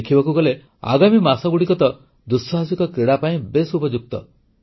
ଦେଖିବାକୁ ଗଲେ ଆଗାମୀ ମାସଗୁଡ଼ିକ ତ ଆଡଭେଞ୍ଚର ସ୍ପୋର୍ଟସ୍ ଦୁଃସାହସିକ କ୍ରୀଡ଼ା ପାଇଁ ବେଶ୍ ଉପଯୁକ୍ତ